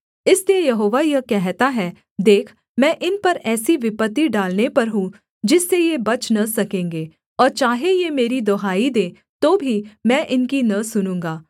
इसलिए यहोवा यह कहता है देख मैं इन पर ऐसी विपत्ति डालने पर हूँ जिससे ये बच न सकेंगे और चाहे ये मेरी दुहाई दें तो भी मैं इनकी न सुनूँगा